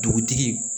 Dugutigi